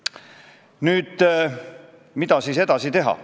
Selle tempoga Eesti saab eestikeelseks riigiks saja aasta pärast.